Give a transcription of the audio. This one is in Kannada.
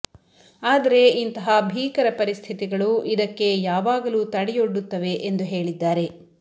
ಆದರೆ ಇಂತಹ ಭೀಕರ ಪರಿಸ್ಥಿತಿಗಳು ಇದಕ್ಕೆ ಯಾವಾಗಲೂ ತಡೆಯೊಡ್ಡುತ್ತವೆ ಎಂದು ಹೇಳಿದ್ದಾರೆ